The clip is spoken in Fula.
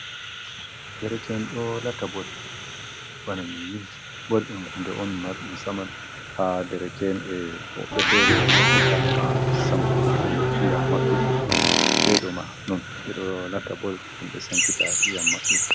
Dereken ɗo latta bol bana miyin bol ɗum hunde on marɗum saman ha dereken, e hoɓefere marfita ngam sanktuggo iyam maɓɓe, eɗo ma non eɗo lata bol mamɓe sankita iyam maɓɓe.